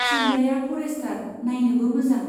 सोंग्राया forester, नाइनोबो मोजां।